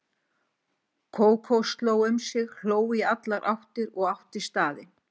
Kókó sló um sig, hló í allar áttir og átti staðinn.